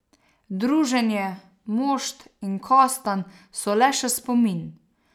Druženje, mošt in kostanj so le še spomin.